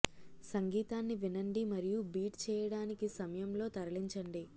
సంగీతాన్ని వినండి మరియు బీట్ చేయడానికి సమయం లో తరలించండి